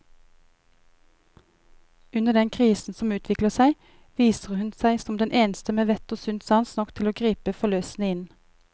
Under den krisen som utvikler seg, viser hun seg som den eneste med vett og sunn sans nok til å gripe forløsende inn.